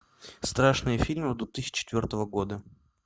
страшные фильмы две тысячи четвертого года